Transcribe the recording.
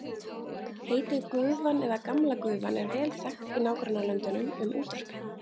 Heitið gufan eða gamla gufan er vel þekkt í nágrannalöndunum um útvarpið.